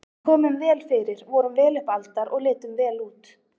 Við komum vel fyrir, vorum vel upp aldar og litum vel út.